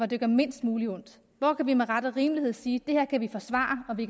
det gør mindst muligt ondt hvor kan vi med ret og rimelighed sige at det her kan vi forsvare det